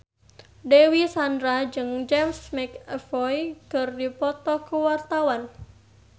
Dewi Sandra jeung James McAvoy keur dipoto ku wartawan